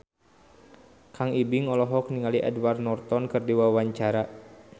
Kang Ibing olohok ningali Edward Norton keur diwawancara